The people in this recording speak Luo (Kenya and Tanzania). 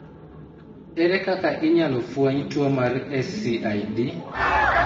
Ere kaka inyalo fweny tuo mar SCID?